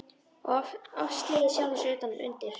Oft slegið sjálfan mig utan undir.